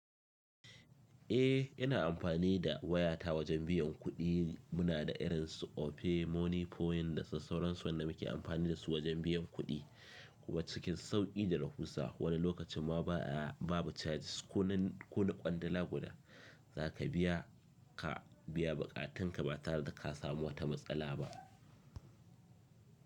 Eh, ina amfani da wayata wajen biyan kuɗi. Muna da irin su Opay, Money Point da su sauransu wanda muke amfani da su wajan biyan kuɗi. Kuma cikin sauƙi da rahusa, wani lokacin ma ba a, ba bu charges. Ko na, ko na kwandala guda za ka biya, ka biya buƙatunka ba tare da ka samu wata matsala ba.